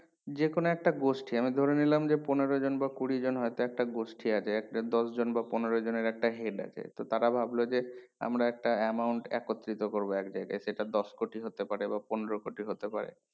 যে কোনো একটা গোষ্ঠী আমি ধরে নিলাম যে পনেরো জন বা কুড়ি জন হয় তো একটা গোষ্ঠী আছে একটা দশ জন বা পনেরো জনের একটা head আছে তো তারা ভাবলো যে আমরা একটা amount একত্রিতো করবো একজায়গায় সেটা দশ কোটি হতে পারে বা পনেরো কোটি হতে পারে